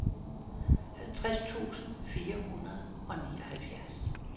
halvtreds tusind fire hundrede og nioghalvfjerds